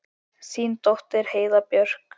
Þín dóttir Heiða Björk.